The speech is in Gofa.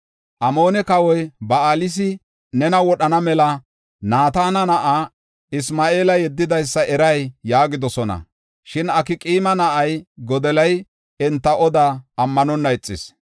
“Amoone kawoy Ba7alisi nena wodhana mela Naatana na7aa Isma7eela yeddidaysa eray?” yaagidosona. Shin Akqaama na7ay Godoliya enti odaa ammanonna ixis.